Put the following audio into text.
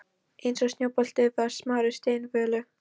Eins og snjóbolti með smárri steinvölu.